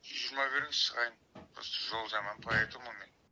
жүз жиырма беріңіз шығайын просто жол жаман по этому